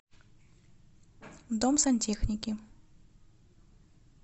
дом сантехники